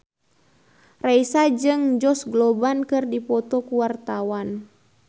Raisa jeung Josh Groban keur dipoto ku wartawan